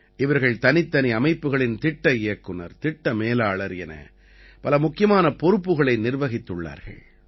இவர்கள் தனித்தனி அமைப்புக்களின் திட்ட இயக்குநர் திட்ட மேலாளர் என பல முக்கியமான பொறுப்புக்களை நிர்வாகித்துள்ளார்கள்